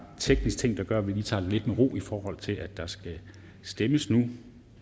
teknisk ting der gør at vi lige tager den lidt med ro i forhold til at der skal stemmes nu